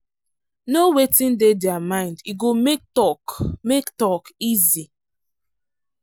know wetin dey their mind e go make talk make talk easy.